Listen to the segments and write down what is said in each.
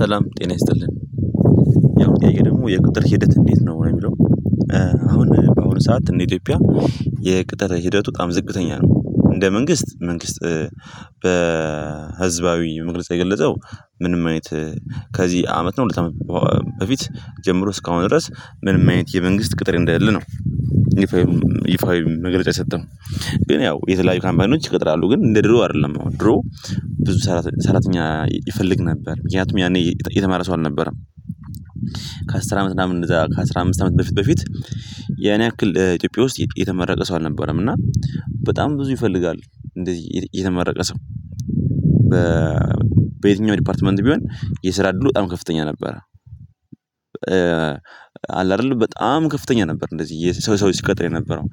ሰላም ጤና ይስጥልን ያሁኑ ጥያቄ ደሞ የቁጥር ሂደት እንዴት ነው የሚለው? አሁን በአሁኑ ሰዓት እንደ ኢትዮጵያ የቅጥር ሂደቱ በጣም ዝቅተኛ ነው። እንደ መንግስት መንግስት በህዝባዊ መግለጽ የገለጸው ምንም አይነት ከዚ አመት ነው ሁለት አመት በፊት ጀምሮ እስካሁን ድረስ ምንም አይነት የመንግስት ቅጥር እንደሌለ ነው። ይፋዊ መግለጫ የሰጠው ግን ያው የተለያዩ ካምፓኒዎች ይቀጥራሉ ግን እንደ ድሮ አደለም ነው። አሁን ድሮ ብዙ ሰራተኛ ይፈልግ ነበር ምክንያቱም ያኔ የተማረ ሰው አልነበረም። ከአስር አመት እና ምናምን እንደዛ ከ አስራ አምስት አመት በፊት በፊት። ያኔ ያክል ኢትዮጵያ ውስጥ የተመረቀ ሰው አልነበረም እና በጣም ብዙ ይፈልጋል እንደዚ የተመረቀ ሰው። በየትኛው ዲፓርትመንት ቢሆን የስራ እድሉ በጣም ከፍተኛ ነበረ። አለ አደለ በጣም ከፍተኛ ነበር እንደዚ ሰው ሰው ሲቀጠር የነበረው።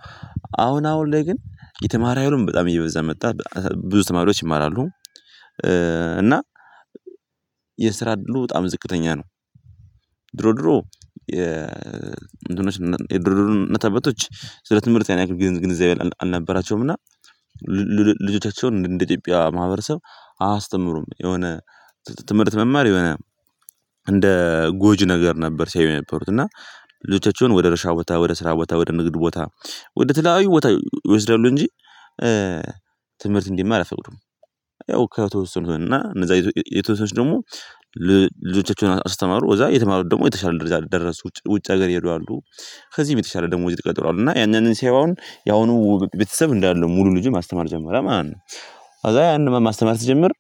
አሁን አሁን ላይ ግን የተማረ ኃይሉም በጣም እየበዛ መጣ። ብዙ ተማሪዎች ይማራሉ። እና የስራ እድሉ በጣም ዝቅተኛ ነው። ድሮ ድሮ የእንትኖች የድሮ እናት አባቶች ስለ ትምህርት ያን ያህል ግንዛቤ አልነበራቸውም። እና ልጆቻቸውን እንደ ኢትዮጵያ ማህበረሰብ አያስተምሩም የሆነ ትምርት መማር እንደ ጎጅ ነገር ነበር ሲያዩ የነበሩት እና። ልጆቻቸውን ወደ እርሻ ቦታ ወደ ስራ ቦታ ወደ ንግድ ቦታ ወደ ተለያዩ ቦታ ይወስዳሉ እንጂ። ትምርት እንዲማር አይፈቅዱም። ያው ከተወሰኑት እና እነዛ የተወሰኑ ሰዎች ደሞ ልጆቻቸውን አስተማሩ ከዛ የተማሩት ደሞ የተሻለ ደረጃ ደረሱ ውጭ ውጭ ሀገር ይየሄዱ አሉ። ከዚ በተሻለ ደሞዝ የተቀጠሩ አሉ እና ያን ያንን ሲያዩ አሁን። ያሁኑ ቤተሰብ እንዳለ ሙሉ ልጁን ማስተማር ጀመረ ማለት ነው። ከዛ ያን ማስተማር ሲጀምር።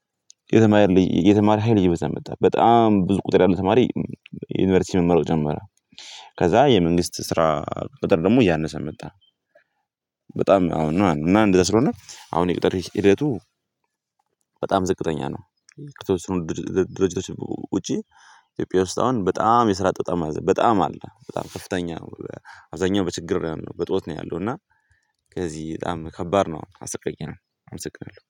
የተማረ የተማሪ ሀይል እየበዛ መጣ በጣም ብዙ ቁጥር ያለ ተማሪ ዩኒቨርሲቲ መመረቅ ጀመረ። ከዛ የመንግስት ስራ ቅጥር ደሞ እያነሰ መጣ። በጣም አሁን ማለት ነው እና እንደዛ ስለሆነ አሁን የቅጥር ሂደቱ። በጣም ዝቅተኛ ነው። ከተወሰኑ ድርጅቶች ውጪ ኢትዮጵያ ውስጥ አሁን በጣም የስራ አጥ በጣም በጣም አለ በጣም ከፍተኛ። አብዛኛው በችግር ነው ያለው በእጦት ነው ያለው እና። ከዚ በጣም ከባድ ነው አሰቃየንም። አመሰግናለው